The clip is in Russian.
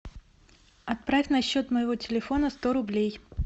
отправь на счет моего телефона сто рублей